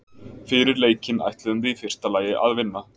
Fyrir leikinn ætluðum við í fyrsta lagi að vinna.